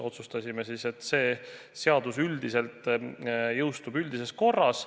Otsustasime siis, et see seadus üldiselt jõustub üldises korras.